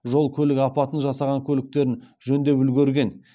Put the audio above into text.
жол көлік апатын жасаған көліктерін жөндеп үлгерген